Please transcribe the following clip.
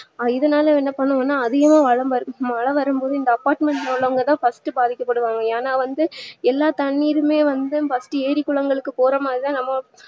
இதனால என்ன பண்ணுவோம் நா மழ வரும்போது இந்த apartment உள்ளவங்கதா first பாதிக்க படுவாங்க ஏன்னா வந்து எல்லா தண்ணீருமே வந்து first ட்டு ஏறி குளங்களுக்கு போரமாதிரிதா நம்ம